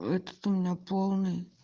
этот у меня полный